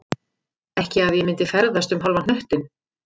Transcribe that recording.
Ekki að ég myndi ferðast um hálfan hnöttinn